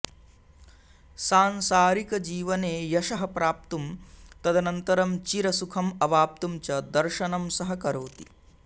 सांसारिकजीवने यशः प्राप्तुं तदनन्तरं चिरसुखम् अवाप्तुं च दर्शनं सहकरोति